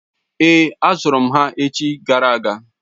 Èé, azụrụ m ha echi gara aga.